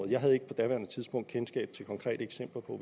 jeg havde ikke på daværende tidspunkt kendskab til konkrete eksempler på